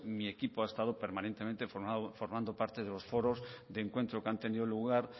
mi equipo ha estado permanentemente formando parte de los foros de encuentro que han tenido lugar